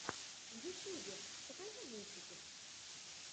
в ютьюбе покажи мультики